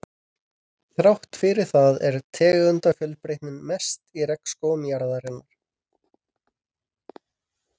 Krossá og Básar til hægri, en þar er aðstaða Útivistar.